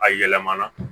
A yɛlɛmana